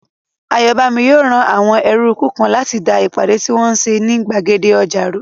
Ayọ̀bámi yóò rán àwọn ẹrúukú kan láti da ìpàdé tí wọ́n n ṣe ní gbàgede ọjà rú